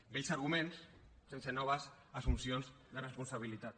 vells arguments sense noves assumpcions de responsabilitat